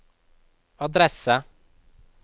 adresse